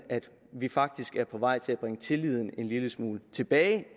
vi er faktisk på vej til at bringe tilliden til kommunerne en lille smule tilbage